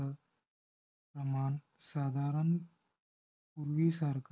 प्रमाण साधारण पूर्वीसारखा